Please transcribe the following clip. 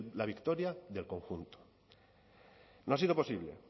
la victoria del conjunto no ha sido posible